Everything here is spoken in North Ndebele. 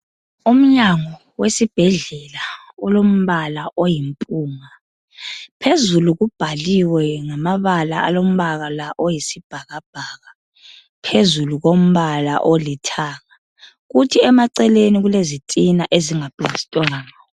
Umnyango wesibhedlela olombala oyimpunga, phezulu kubhaliwe ngamabala alombala oyisibhakabhaka phezulu kombala olithanga, kuthi emaceleni kulezitina ezinga plastwanga